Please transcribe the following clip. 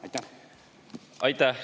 Aitäh!